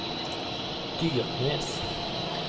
Dyrnes